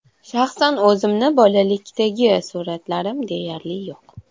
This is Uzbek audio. Shaxsan o‘zimni bolalikdagi suratlarim deyarli yo‘q.